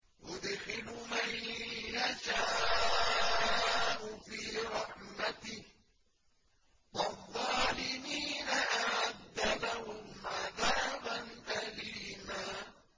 يُدْخِلُ مَن يَشَاءُ فِي رَحْمَتِهِ ۚ وَالظَّالِمِينَ أَعَدَّ لَهُمْ عَذَابًا أَلِيمًا